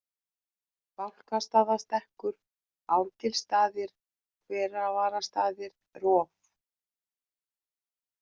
Bálkastaðastekkur, Árgilsstaðir, Hervararstaðir, Rof